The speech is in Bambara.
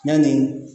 Yanni